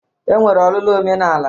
E nwere ọlụlụ omenala